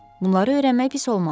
Bunları öyrənmək pis olmazdı.